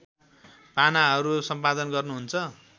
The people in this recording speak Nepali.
पानाहरू सम्पादन गर्नुहुन्छ